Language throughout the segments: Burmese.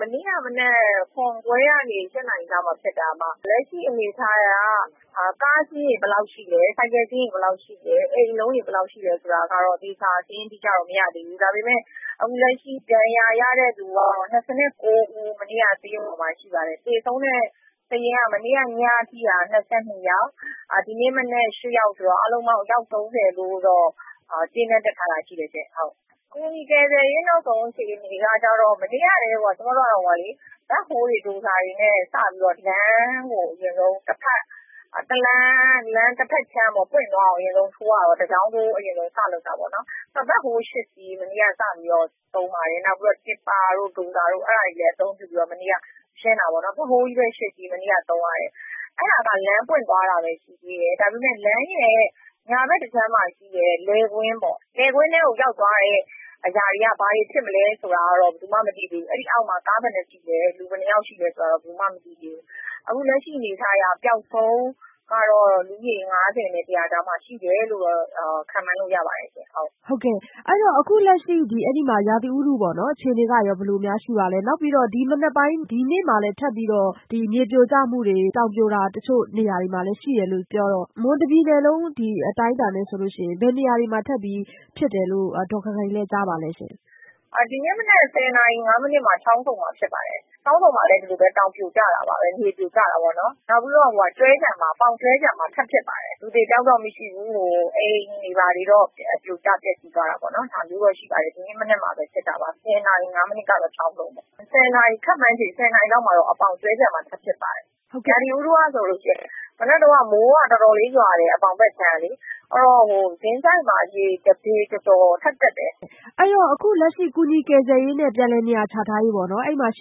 မနေ့က မနက် ၇ ခွဲကနေ ၈ နာရီကြားမှာ ဖြစ်တာ။ လက်ရှိအနေအထားအရ ကားအစီးရေတွေ ဘယ်လောက် ရှိလဲ၊ ဆိုင်ကယ်အစီးရေ ဘယ်လောက်ရှိလဲ၊ အိမ်အလုံးရေ ဘယ်လောက်ရှိတယ်ဆိုတာကတော့ သေချာ စာရင်းတိတိကျကျ မရသေးဘူး။ ဒါပေမယ့် လက်ရှိ ဒဏ်ရာရတဲ့ သူ ၂၉ ဦး မနေ့က စာရင်းဝင်တာ ရှိပါတယ်။ သေဆုံးတဲ့ သူတွေက မနေ့က ညအထိက ၂၂ ယောက်၊ ဒီနေ့မနက် ၈ ယောက်ဆိုတော့ အားလုံးပေါင်း လူ ၃၀ လို့တော့ ကြေးနန်းတပ်ထားတာ ရှိတယ်။ ကူညီကယ်ဆယ်ရေး နောက်ဆုံးအခြေအနေက မနေ့ကတည်းက ဒိုဇာတွေနဲ့ လမ်းကို အရင်ဆုံး လမ်းတဖက်ခြမ်း ပွင့်သွားအောင် တကြောင်းထိုး အရင်ဆုံး ထိုးရတယ်။ ဘက်ဟိုးစက်တွေနဲ့ မနေ့က စပြီးတော့ သုံးပါတယ်။ နောက်ပြီးတော့ မြေတူးစက်၊ ဒိုဇာတို့တွေလည်း အသုံးပြုပြီးတော့ မနေ့က ရှင်းတယ်။ အဲဒါက လမ်းပွင့်သွားတာပဲ ရှိတယ်။ ဒါပေမယ့် လမ်းရဲ့ ညာဖက်တခြမ်းမှာ ရှိတဲ့ လယ်ကွင်းထဲကို ရောက်သွားတဲ့အရာတွေက ဘာတွေ ဖြစ်မလဲဆိုတာ ဘယ်သူမှ မသိသေးဘူး။ အဲဒီအောက်မှာ ကားဘယ်နှစင်း ရှိလဲ၊ လူဘယ်နှယောက်ရှိလဲဆိုတာ ဘယ်သူမှ မသိသေးဘူး။ အခုလက်ရှိအနေအထားအရ ပျောက်ဆုံးသွားတဲ့ လူဦးရေက ၅၀ နဲ့ ၁၀၀ ကြားမှာ ရှိတယ်လို့ ခန့်မှန်းလို့ ရပါတယ်။ ဟုတ်ကဲ့။ အဲဒီတော့ အခုလက်ရှိမှာ ရာသီဥတုအခြေအနေက ဘယ်လိုရှိပါလဲ။ နောက်ပြီးတော့ ဒီနေ့မှာလည်း ထပ်ပြီးတော့ မြေပြိုကျမှှုတွေ၊ တောင်ပြိုတာတွေ တချို့နေရာတွေမှာလည်း ရှိတယ်လို့ ပြောတော့ မွန်ပြည်နယ်တခုလုံးအတိုင်းအတာနဲ့ဆိုရင် ဘယ်နေရာတွေမှာ ထပ်ပြီး ဖြစ်တယ်လို့ ဒေါ်ခိုင်ခိုင်လဲ့ ကြားပါသလဲ။ ဒီနေ့ မနက် ၁၀ နာရီ ၅ မိနစ်မှာ ချောင်းဆုံမှာ ဖြစ်ပါတယ်။ ချောင်းဆုံမှာလည်း ဒီလိုပဲ တောင်ပြိုကျတာပါပဲ။ မြေပြိုကျတာပေါ့နော်။ နောက်ပြီးတော့ ပေါင်၊ ကျွဲခြံမှာ ထပ်ဖြစ်ပါတယ်။ လူအသေအပျောက်တော့ မရှိဘူး။ အိမ်တွေ ဘာတွေတော့ ပြိုကျပျက်စီးသွားတာပေါ့။ ဒီနေ့မနက် ခန့်မှန်းခြေ ၁၀ နာရီလောက်မှာ ပေါင်၊ ကျွဲခြံမှာ ထပ်ဖြစ်ပါတယ်။ ရာသီဥတုကတော့ မနက်ကတော့ ပေါင်ဖက်ခြမ်းမှာ မိုးတော်တော်လေး ရွာတယ်။ ကင်းဆိုက်မှာ ရေ ၁ ပေကျော်ကျော် ထပ်တက်တယ်။ အခုလက်ရှိ ကူညီကယ်ဆယ်ရေးနဲ့ ပြန်လည်နေရာချထားရေး ဝန်ကြီးဌာန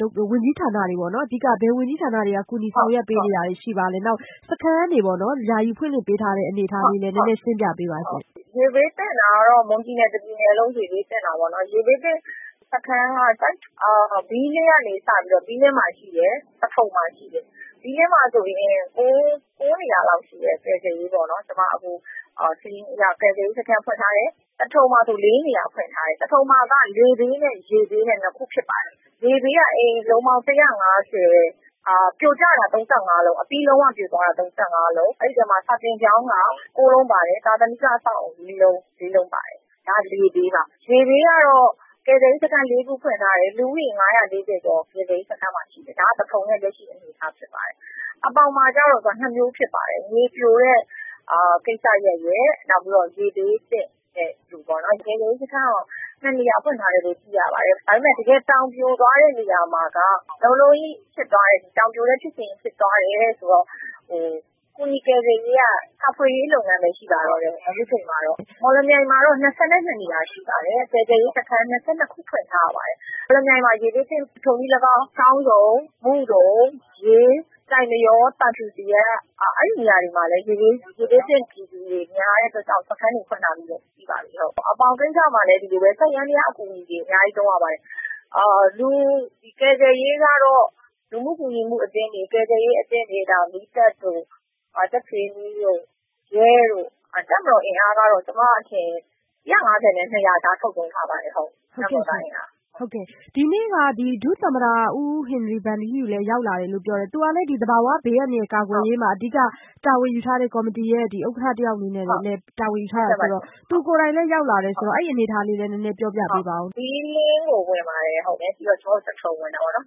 တွေ၊ အဓိက ဘယ်ဝန်ကြီးဌာနတွေက ကူညီဆောင်ရွက်ပေးနေတာတွေ ရှိပါလဲ။ နောက် စခန်းတွေ ယာယီဖွင့်လှစ်ပေးထားတဲ့ အနေအထားလည်း ရှင်းပြပေးပါ။ ရေဘေးသင့်တာကတော့ မွန်ပြည်နယ်တခုလုံးပါပဲ။ ရေဘေးသင့်စခန်းက ဘီးလင်းကနေ စပြီးတော့ ဘီးလင်းမှာ ရှိတယ်၊ သထုံမှာ ရှိတယ်။ ဘီးလင်းမှာဆိုရင် ၉ နေရာလောက် စာရင်းအရ ကယ်ဆယ်ရေးစခန်းတွေ ရှိပါတယ်။ သထုံမှာဆိုရင် ၄ နေရာဖွင့်ထားတယ်။ သထုံမှာက လေဘေးနဲ့ ရေဘေး ၂ ခု ဖြစ်ပါတယ်။ လေဘေးက အိမ်အလုံးပေါင်း ၁၅၀၊ ပြိုကျတာ ၃၅ လုံး၊ အပြီးလုံး၀ ပြိုသွားတာ ၃၅ လုံး၊ အဲဒီထဲမှာ စာသင်ကျောင်းက ၉ လုံး၊ သာသနိက အဆောက်အအုံ ၄ လုံး၊ ဒါက လေဘေးပါ။ ရေဘေးကတော့ ကယ်ဆယ်ရေးစခန်း ၄ ခု ဖွင့်ထားတယ်။ လူဦးရေ ၅၄၀ ကျော် ကယ်ဆယ်ရေးစခန်းမှာ ရှိတယ်။ အဲဒါ သထုံရဲ့ လက်ရှိအနေအထား ဖြစ်ပါတယ်။ ပေါင်မှာကျတော့ ၂ မျိုးဖြစ်ပါတယ်။ ပြိုတဲ့ ကိစ္စရပ်ရယ်၊ ရေဘေးသင့်တဲ့ ကိစ္စရပ်ရယ်။ ကယ်ဆယ်ရေးစခန်းကို ၂ နေရာ ဖွင့်ထားတယ်လို့ သိရပါတယ်။ ဒါပေမယ့် တကယ်တော့ တောင်ပြိုသွားတဲ့နေရာမှာက တောင်ပြိုတဲ့ ဖြစ်စဉ်ကြီး ဖြစ်သွားတယ်ဆိုတော့ ကူညီကယ်ဆယ်ရေးက အခုချိန်မှာတော့ ရှာဖွေရေးလုပ်ငန်းပဲ ရှိပါတော့တယ်။ မော်လမြိုင်မှာတော့ ၂၂ နေရာ ရှိပါတယ်။ ကယ်ဆယ်ရေးစခန်း ၂၂ ခု ဖွင့်ထားရပါတယ်။ မော်လမြိုင်မှာ ထိုနည်း၎င်း ရေဘေးသင့်တာ ချောင်းဆုံ၊ မုဒုံ၊ ရေး၊ ကျိုက်မရော၊ ဝေါ၊ သံဖြူဇရပ် အဲဒီနေရာမှာလည်း ရေဘေးသင့်ပြည်သူတွေ များတဲ့အတွက်ကြောင့် စခန်းတွေ ဖွင့်ထားတာတွေလည်း ရှိပါသေးတယ်။ ပေါင်ကိစ္စမှာလည်း ဒီလိုပဲ။ စက်ယန္တရားအကူအညီတွေ အများကြီး သုံးရပါတယ်။ လူကယ်ဆယ်ရေးကတော့ လူမှု ကူညီမှုအသင်း၊ ကယ်ဆယ်ရေးအသင်းတွေ၊ မီးသတ်၊ ကြက်ခြေနီ၊ ရဲ၊ တပ်မတော် အင်အားကတော့ ကျမအထင် ၁၅၀ နဲ့ ၂၀၀ ကြား ထုတ်သုံးထားပါတယ်။ ဒီနေ့က ဒုသမ္မတ ဦးဟင်နရီဗန်ထီးယူလည်း ရောက်လာတယ် ပြောတယ်။ သူကလည်း သဘာဝဘေးအန္တရာယ်ကာကွယ်ရေးမှာ ကော်မတီရဲ့ ဥက္ကဌတယောက်အနေနဲ့ အဓိက တာဝန်ယူထားတယ်ဆိုတော့ သူကိုယ်တိုင်လည်း ရောက်လာတယ်ဆိုတော့၊ အဲဒီ့အနေအထားလေးလည်း နည်းနည်း ပြောပြပါဦး။ ဘီးလင်းကို ဝင်ပါတယ်။ သထုံကိုလည်း ဝင်ပါတယ်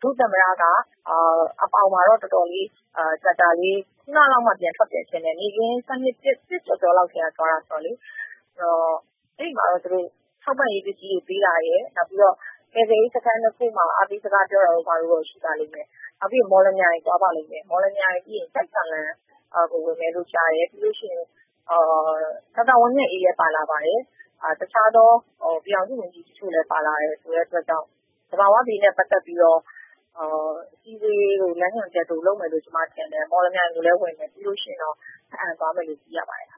။ ဒုသမ္မတက ပေါင်မှာတော့ ကြာကြာလေး နေပြီး ခုဏကလောက်မှာ ပြန်ထွက်တယ်ထင်တယ်။ နေ့ခင်း ၁ နာရီကျော်ကျော်လောက်မှ ပြန်သွားတယ်။ အဲဒီမှာတော့ သူတို့ထောက်ပံ့ရေးပစ္စည်းတွေပေးတာ၊ ကယ်ဆယ်ရေးစခန်း ၂ ခုမှာ အားပေးစကားပြောတာတို့တော့ ရှိတယ်။ နောက်ပြီးရင် မော်လမြိုင် သွားပါလိမ့်မယ်။ ဒါတွေပြီးရင် ကျိုက်သံလံဝင်မယ်လို့ ကြားတယ်။ ဒေါက်တာဝင်းမြတ်အေးလည်း ပါလာပါတယ်။ တခြားသော ပြည်ထောင်စု ဝန်ကြီးတချို့လည်း ပါလာတယ်။ သဘာဝဘေးနဲ့ပတ်သက်ပြီးတော့ ပြည်သူတွေကို လမ်းညွှန်ချက်တွေ လုပ်မယ်လို့ကျမထင်တယ်။ မော်လမြိုင်ကိုလည်း ဝင်တယ်။ ပြီးရင်တော့ ဘားအံသွားမယ်လို့သိရပါတယ်။